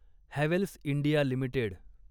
Havells India limited